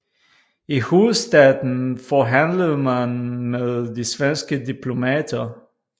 I hovedstaden forhandlede man med de svenske diplomater